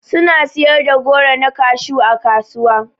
Suna siyar da goro na kashew ã kasuwa.